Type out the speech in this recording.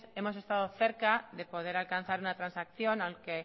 hemos estado cerca de poder alcanzar una transacción aunque